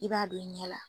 I b'a don i ɲɛ la